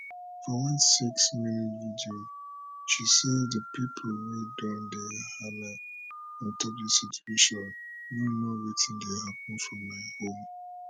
for one six minute video she say di pipo wey don dey hala on top dis situation no know wetin dey happun for my home